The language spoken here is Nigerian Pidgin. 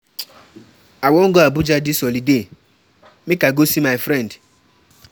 I wan go Abuja dis holiday make I go see my friend.